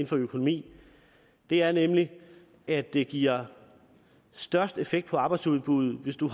for økonomi er nemlig at det giver størst effekt på arbejdsudbuddet hvis du